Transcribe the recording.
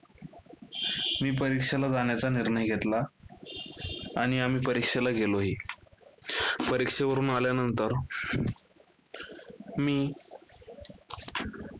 मी परीक्षेला जाण्याचा निर्णय घेतला. आणि आम्ही परीक्षेला गेलोही. परीक्षेवरून आल्यानंतर. मी